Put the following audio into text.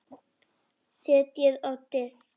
Setjið á disk.